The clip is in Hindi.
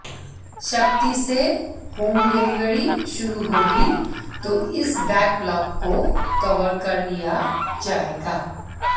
सख्ती से होम डिलेवरी शुरू होगी तो इस बैकलॉक को कवर कर लिया जाएगा